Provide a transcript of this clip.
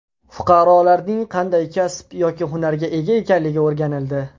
Fuqarolarning qanday kasb yoki hunarga ega ekanligi o‘rganildi.